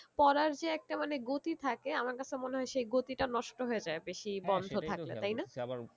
পড়ার যে একটা মানে গতি থাকে আমার কাছে মনে হয়ে সেই গতিটা নষ্ট হয়ে যায় বেশি বন্ধ থাকলে তাই না?